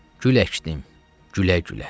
Gül əkdim, gülə-gülə.